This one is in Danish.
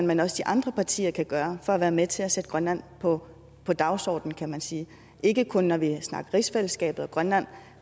men også de andre partier kan gøre for at være med til at sætte grønland på på dagsordenen kan man sige ikke kun når vi snakker rigsfællesskabet og grønland